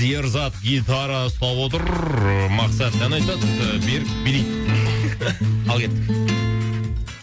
ерзат гитара ұстап отыр мақсат ән айтады берік билейді ал кеттік